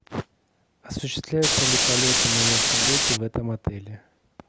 осуществляются ли полеты на вертолете в этом отеле